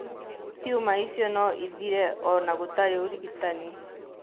Tiuma icio no ithire o na gũtarĩ ũrigitani.